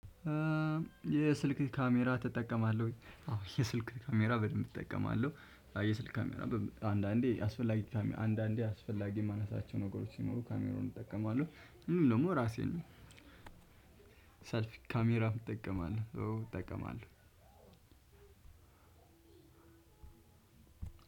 የስልክ ካሜራ ትጠቀማለወይ? አዎ የስልክ ካሜራ በደንብ እጠቀማለሁ የስልክ ካሜራ አንዳንዴ አስፈላጊ ካሜራ አንዳንዴ አስፈላጊ ማነሳታቸው ነገሮች ሲኖሩ ካሜራውን እጠቀማለሁ። እንዲሁ ደግሞ ራሴን ሰልፊ ካሜራ እጠቀማለሁ እጠቀማለሁ። አንድ